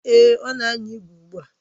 Èé, ọ na anya ígwè ugbu a.